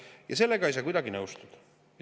Ja sellega ei saa kuidagi nõustuda.